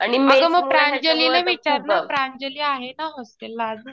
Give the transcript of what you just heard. अगं मग प्रांजलीला विचार ना. प्रांजली आहे ना हॉस्टेलला अजून.